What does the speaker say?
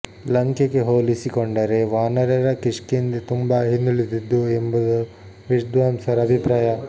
ಲಂಕೆಗೆ ಹೋಲಿಸಿಕೊಂಡರೆ ವಾನರರ ಕಿಷ್ಕಿಂದೆ ತುಂಬಾ ಹಿಂದುಳಿದಿತ್ತು ಎಂಬುದು ವಿದ್ವಾಂಸರ ಅಭಿಪ್ರಾಯ